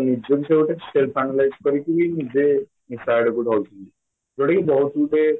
ନିଜ ନିଜର ଗୋଟେ safe analysis କରିକି ନିଜେ ନିଶା ଆଡକୁ ଯାଉଛନ୍ତି ଯୋଉଟାକି ବହୁତ ଗୁଡ଼େ